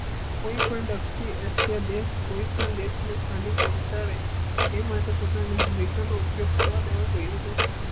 કોઈ પણ વ્યક્તિએશિયા દેશ કોઈ પણ દેશ ને ખામી પહોંચાડે તે માટે પોતાની ભૂમિકા નો ઉપયોગ કરવા દેવો જોઈ એ નહીં